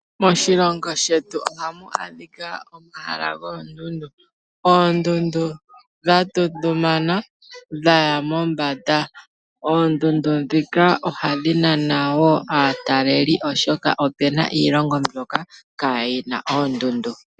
Moshilongo shetu ohamu adhika omahala goondundu. Oondundu dha tundumana dha ya mombanda. Oondundu ndhika ohadhi nana wo aataleli oshoka opu na iilongo mbyoka kaa yi na oondundu.